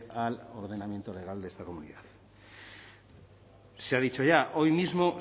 al ordenamiento legal de esta comunidad se ha dicho ya hoy mismo